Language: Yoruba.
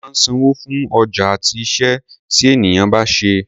A máa ń sanwó fún ọjà àti iṣẹ́ tí ènìyàn bá ṣe.